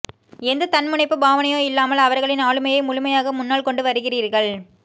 எந்த தன்முனைப்போ பாவனையோ இல்லாமல் அவர்களின் ஆளுமையை முழுமையாக முன்னால்கொண்டு வருகிறீர்கள்